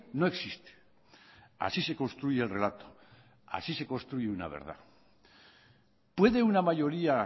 no existe así se construye el relato así se construye una verdad puede una mayoría